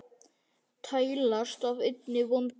tælast af einni vondir menn